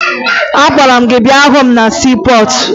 Agwara m gị bịa hụ m na siipọọtụ!